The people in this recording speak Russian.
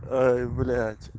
ой блять